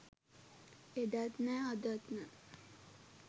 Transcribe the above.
එදත් නෑ අදත් නෑ